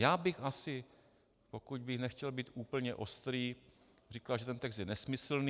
Já bych asi, pokud bych nechtěl být úplně ostrý, řekl, že ten text je nesmyslný.